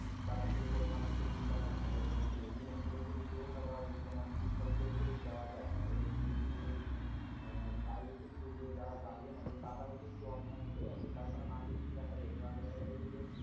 তারা সেই পরিমাণ হয়তো চিন্তা-ভাবনা করছে না তো এর জন্য পুরোপুরি দোষ আবার তোমার শিক্ষকদের কেই দেওয়া যায় না এর~ এর~ এর দায় কিন্তু যে যারা guardian আছে তারাও কিন্তু অনেকাংশেই আছে তার কারণ আগে কি দেখা যেত আগে দেখা যেত যে